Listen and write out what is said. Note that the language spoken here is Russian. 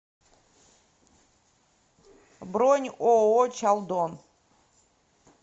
бронь ооо чалдон